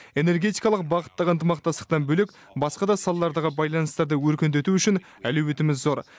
энергетикалық бағыттағы ынтымақтастықтан бөлек басқа да салалардағы байланыстарды өркендету үшін әлеуетіміз зор